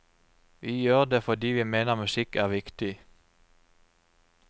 Vi gjør det fordi vi mener musikk er viktig.